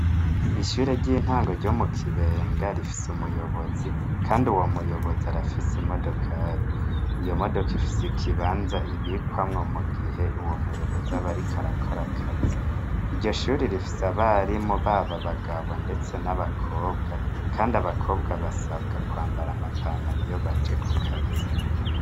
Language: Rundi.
Ishure ry'intango ryo mu kibenga rifise umuyobozi, kandi uwo muyobozi arafise imodokari iyo modoka ifise ikibanza ibikwamwo mu gihe uwo muyobozi abariko arakora akazi iryo shuri rifise abari mu baba bagabo, ndetse n'abakobwa, kandi abakobwa basabwa kwambara amapana ntariyobaje ku kazi.